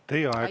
Aitäh!